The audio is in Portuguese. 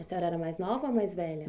E a senhora era a mais nova ou a mais velha?